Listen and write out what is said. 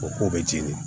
O ko bɛ jeni